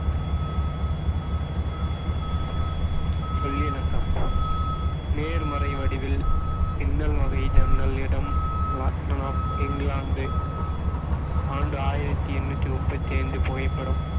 சொல்லினக்கம் நேர்மறை வடிவில், பின்னல்வகை ஜன்னல் இடம் இங்கிலாந்து ஆண்டு ஆயிரத்தி எண்ணூத்தி முப்பத்தி ஐந்து புகைப்படம்